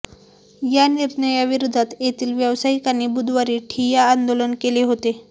या निर्णयाविराेधात येथील व्यावसायिकांनी बुधवारी ठिय्या आंदाेलन केले हाेते